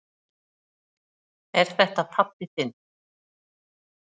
Er þetta pabbi þinn?